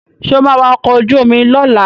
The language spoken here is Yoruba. Sọ ma wa ọkọ̀ ojú omi lọ́la?